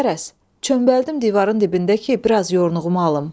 Qərəz, çömbəldim divarın dibində ki, biraz yoruğumu alım.